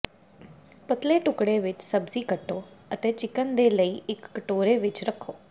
ਪਤਲੇ ਟੁਕੜੇ ਵਿੱਚ ਸਬਜ਼ੀ ਕੱਟੋ ਅਤੇ ਚਿਕਨ ਦੇ ਲਈ ਇੱਕ ਕਟੋਰੇ ਵਿੱਚ ਰੱਖੋ